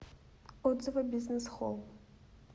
отзывы бизнес холл